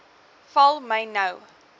val my nou